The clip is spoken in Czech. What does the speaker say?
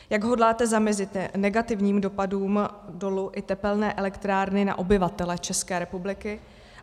Jak hodláte zamezit negativním dopadům dolu i tepelné elektrárny na obyvatele České republiky?